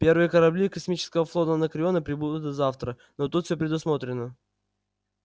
первые корабли космического флота анакреона прибудут завтра но тут все предусмотрено